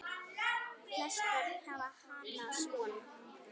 Flest börn hafa hana svona